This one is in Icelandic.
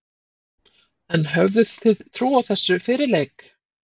En höfðuð þið trú á þessu fyrir leik?